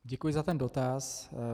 Děkuji za ten dotaz.